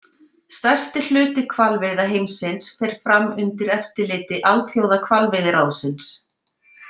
Stærsti hluti hvalveiða heimsins fer fram undir eftirliti Alþjóðahvalveiðiráðsins.